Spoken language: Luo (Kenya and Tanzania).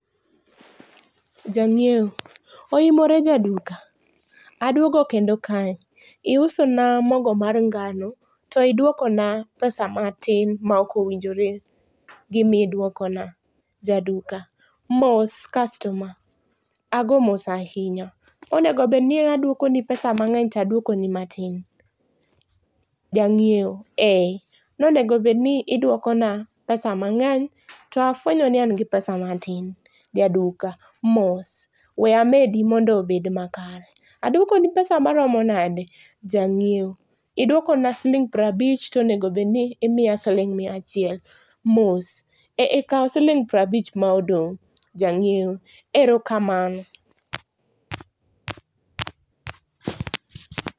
Jang'iewo: Oimore Jaduka, aduogo kendo kae. Iusona mogo mar ngano to idwokona pesa matin ma ok owinjore gimidwokona. Jaduka: Mos customer, ago mos ahinya. Onego obedni aduokoni pesa mang'eny tadwokoni matin. Jang'iewo: Ee, nonegobedni idwokona pesa mang'eny to afwenyo ni an gi pesa matin. Jaduka: Mos, we amedi mondo obed makare. Adwokoni pesa maromo nade? Jang'iewo: Idwokona siling' prabich tonegobedni imiya siling' miachiel. Mos, eeh kaw siling' prabich ma odong'. Jang'iewo: Erokamano.